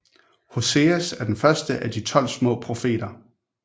Hoseas er den første af De tolv små profeter